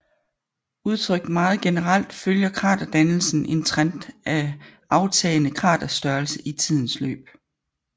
Udtrykt meget generelt følger kraterdannelsen en trend af aftagende kraterstørrelse i tidens løb